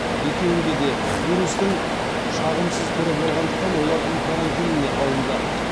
екеуінде де вирустың шағымсыз түрі болғандықтан олар үй карантиніне алынды